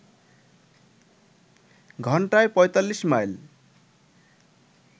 ঘন্টায় ৪৫ মাইল